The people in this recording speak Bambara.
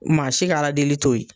Maa si ka Ala deli to ye